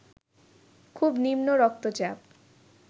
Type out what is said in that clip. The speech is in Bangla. খুব নিম্ন রক্তচাপ